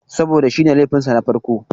Saboda shi ne laifin sa na farko.